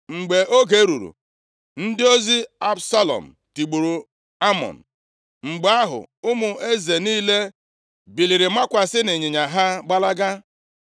Mgbe oge ruru, ndị ozi Absalọm tigburu Amnọn. Mgbe ahụ, ụmụ eze niile biliri makwasị nʼịnyịnya ha gbalaga.